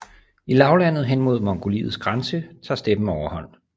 I lavlandet hen imod Mongoliets grænse tager steppen overhånd